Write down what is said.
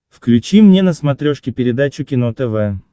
включи мне на смотрешке передачу кино тв